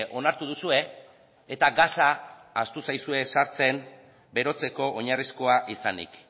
onartu duzue eta gasa ahaztu zaizue sartzen berotzeko oinarrizkoa izanik